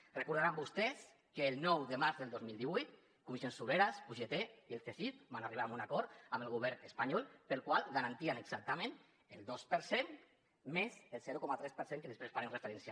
deuen recordar vostès que el nou de març del dos mil divuit comissions obreres ugt i el csif van arribar a un acord amb el govern espanyol pel qual garantien exactament el dos per cent més el zero coma tres per cent a què després farem referència